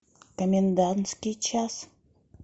комендантский час